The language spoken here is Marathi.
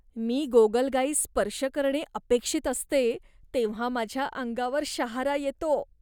मी गोगलगायीस स्पर्श करणे अपेक्षित असते तेव्हा माझ्या अंगावर शहारा येतो.